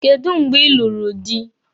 Kedụ mgbe ị lụrụ dị?